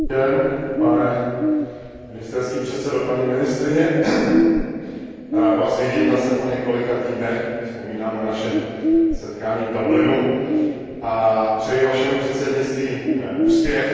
Dobrý den, pane ministerský předsedo, paní ministryně, rád Vás vidím zase po několika týdnech, vzpomínám na naše setkání v Dublinu a přeji Vašemu předsednictví úspěch.